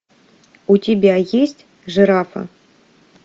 у тебя есть жирафа